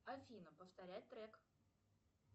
афина повторяй трек